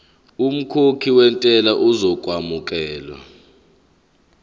umkhokhi wentela uzokwamukelwa